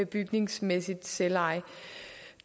bygningsmæssigt selveje